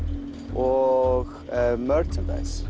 og